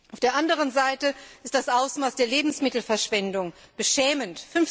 Auf der anderen Seite ist das Ausmaß der Lebensmittelverschwendung beschämend.